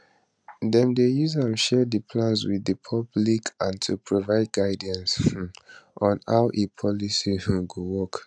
dem dey use am share di plans wit di public and to provide guidance um on how a policy um go work